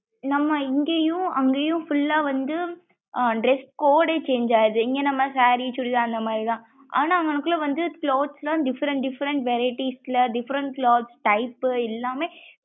நம்ம இங்கையும் அங்கையும் full லா வந்து dress code யே change ஆகுது இங்க நம்ம saree chudithar அந்த மாறி தான் ஆனா அங்னகுள்ள வந்து clothes லாம் different different varietes ல different cloth type எல்லாமே.